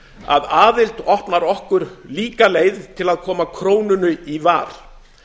að aðild opnar okkur líka leið til að koma krónunni í var